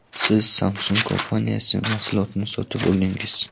Siz Samsung kompaniyasi mahsulotini sotib oldingiz.